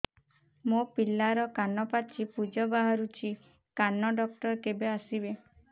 ମୋ ପିଲାର କାନ ପାଚି ପୂଜ ବାହାରୁଚି କାନ ଡକ୍ଟର କେବେ ଆସିବେ